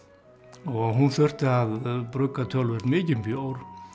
og hún þurfti að brugga töluvert mikinn bjór